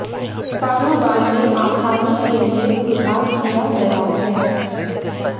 कारोबार में आसानी के लिए सुधार किया गया है